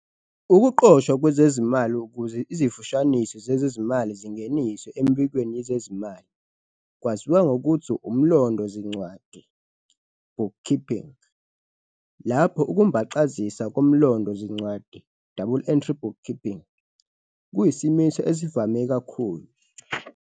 Ukuqoshwa kwezezimali, ukuze izifushaniso zezezimali zingeniswe emibikweni yezezimali, kwaziwa ngokuthi umlondo-zincwadi, bookkeeping, lapho ukumbaxazisa komlondo-zincwadi, double-entry bookkeeping, kuyisimiso esivame kakhulu.